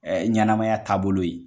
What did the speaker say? ɲanamaya taabolo ye